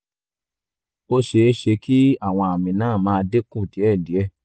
ó ṣeé ṣe kí àwọn àmì náà máa dín kù díẹ̀díẹ̀